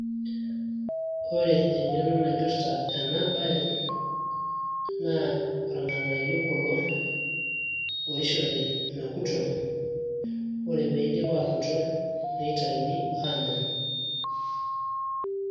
ore eng`eno naipirta ena baye naa irng`anayio kulo oishori mekuto ore peidip aakuto neitayuni aanya.